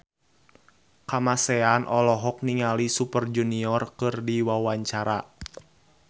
Kamasean olohok ningali Super Junior keur diwawancara